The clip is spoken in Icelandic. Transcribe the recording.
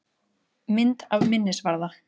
Mynd af minnisvarða.